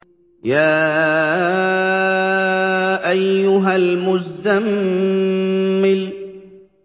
يَا أَيُّهَا الْمُزَّمِّلُ